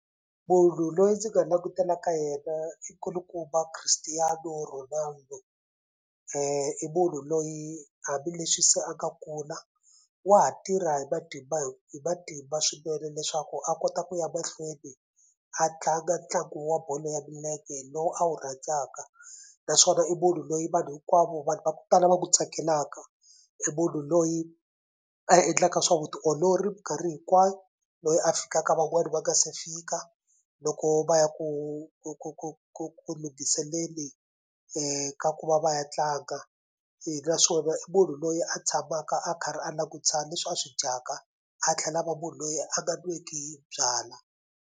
Munhu loyi ndzi nga langutela ka yena i kulukumba Christiano Ronaldo i munhu loyi hambileswi se a nga kula wa ha tirha hi matimba hi matimba swinene leswaku a kota ku ya mahlweni a tlanga ntlangu wa bolo ya milenge lowu a wu rhandzaka naswona i munhu loyi vanhu hinkwavo vanhu va ku tala van'wu tsakelaka i munhu loyi a endlaka swa vutiolori mikarhi hinkwayo loyi a fikaka van'wani va nga se fika loko va ya ku ku ku ku ku ku ka ku va va ya tlanga naswona i munhu loyi a tshamaka a karhi a langutisa leswi a swi dyaka a tlhela a va munhu loyi a nga nweki byalwa.